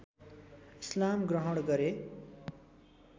इस्लाम ग्रहण गरे